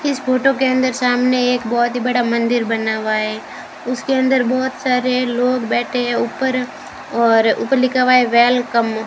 इस फोटो के अंदर सामने एक बहोत ही बड़ा मंदिर बना हुआ है उसके अंदर बहोत सारे लोग बैठे हैं ऊपर और ऊपर लिखा हुआ है वेलकम ।